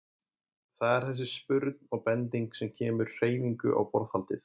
Það er þessi spurn og bending sem kemur hreyfingu á borðhaldið.